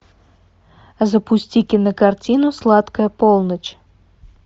запусти кинокартину сладкая полночь